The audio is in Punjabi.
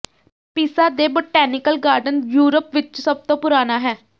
ਪੀਸਾ ਦੇ ਬੋਟੈਨੀਕਲ ਗਾਰਡਨ ਯੂਰਪ ਵਿਚ ਸਭ ਤੋਂ ਪੁਰਾਣਾ ਹੈ